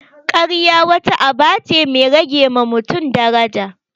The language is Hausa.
Karya wata aba ce mai rage ma mutun daraja